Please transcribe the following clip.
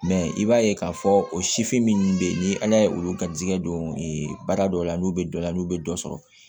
i b'a ye k'a fɔ o sifin ninnu bɛ yen ni ala ye olu garisigɛ don baara dɔ la n'u bɛ dɔ la n'u bɛ dɔ sɔrɔ